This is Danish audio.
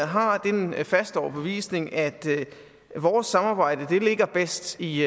har den faste overbevisning at vores samarbejde ligger bedst i